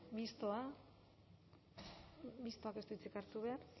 mistoa mistoak ez du hitzik hartu behar